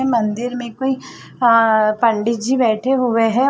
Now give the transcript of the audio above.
मंदिर में कोई आ पंडित जी बैठे हुए हैं।